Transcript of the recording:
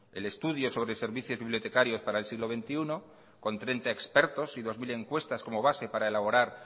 el estudio sobre servicios bibliotecarios para el siglo veintiuno con treinta expertos y dos mil encuestas como base para elaborar